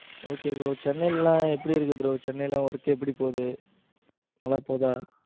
Okay bro Chennai எல்லாம் எப்படி இருக்கு bro சென்னையில work எப்படி போகுது? நல்லா போகுதா?